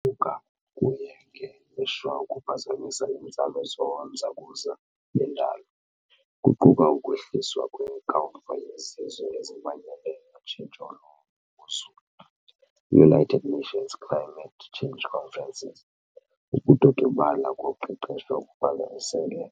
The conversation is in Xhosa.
bhuka kuye ngelishwa kwaphazamisa iinzame zonozakuza bendalo, kuquka ukwehliswa kweNkomfa yeZizwe eziManyeneyo yoTshintsho lweMozulu United Nations Climate Change Conferences. Ukudodobala koqeqesho kuphazamisene